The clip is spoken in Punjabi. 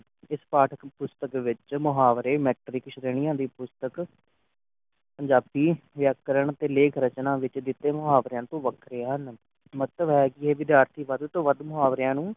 ਇਸ ਪਾਠ ਪੁਸਤਕ ਵਿਚ ਮੁਹਾਵਰੇ ਸ੍ਰਣੀਆਂ ਦੀ ਪੁਸਤਕ ਪੰਜਾਬੀ ਵਿਆਕਰਨ ਦੇ ਲੇਖ ਰਚਨਾ ਵਿਚ ਦਿਤੇ ਮੁਹਾਵਰਿਆਂ ਤੋਂ ਵੱਖਰੇ ਹਨ, ਮਤਲਬ ਹੈ ਕਿ ਵਿਧਿਆਰ੍ਥਿ ਵਧ ਤੋਂ ਵਧ ਮੁਹਾਵ੍ਰੇਯਾਂ ਨੂ